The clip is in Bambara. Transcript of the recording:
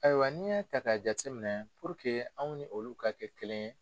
Ayiwa n'i y'a ta k'a jate minɛ anw ni olu ka kɛ kelen ye